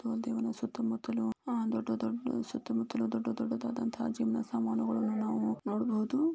ದೇವನ ಸುತ್ತಮುತ್ತಲು ದೊಡ್ಡ ದೊಡ್ಡ ದಾದಂತಹ ಜಿಮ್ ನ ಸಾಮಾನುಗಳನ್ನು ನಾವು ನೋಡಬಹುದು .